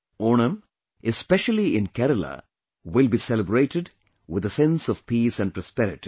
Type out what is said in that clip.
Onam, especially in Kerala, will be celebrated with a sense of peace and prosperity